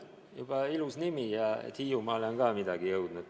Juba ilus nimi ja tore, et ka Hiiumaale on midagi jõudnud.